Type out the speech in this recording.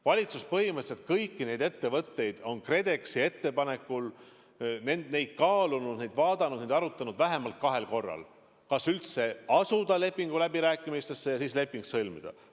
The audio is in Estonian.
Valitsus on põhimõtteliselt kõiki neid ettevõtteid KredExi ettepanekul kaalunud, vaadanud ja arutanud vähemalt kahel korral: kas üldse asuda lepinguläbirääkimistesse ja kas leping sõlmida.